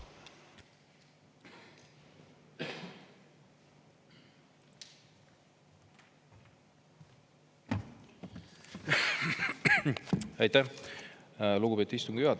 Aitäh, lugupeetud istungi juhataja!